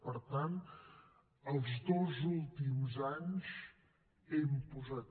per tant els dos últims anys hem posat